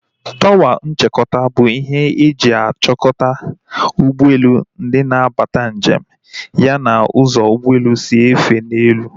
Tọwa nchịkọta bụ ihe e ji achikota ụgbọelu, ndị na-abata njem ya na ụzọ ụgbọelu si efe n'elu